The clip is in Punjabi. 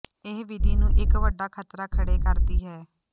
ਇਹ ਵਿਧੀ ਨੂੰ ਇੱਕ ਵੱਡਾ ਖ਼ਤਰਾ ਖੜ੍ਹੇ ਕਰਦੀ ਹੈ